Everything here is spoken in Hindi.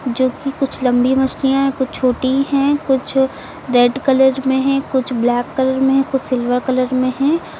जो कि कुछ लंबी मछलियां है कुछ छोटी है कुछ रेड कलर में है कुछ ब्लैक कलर में कुछ सिल्वर कलर में है।